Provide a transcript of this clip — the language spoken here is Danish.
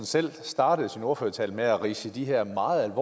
selv startede sin ordførertale med at opridse de her meget